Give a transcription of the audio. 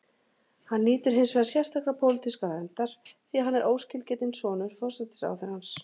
Hann nýtur hins vegar sérstakrar pólitískar verndar því að hann er óskilgetinn sonur forsætisráðherrans.